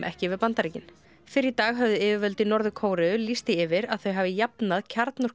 ekki við Bandaríkin fyrr í dag höfðu yfirvöld í Norður Kóreu lýst því yfir að þau hafi jafnað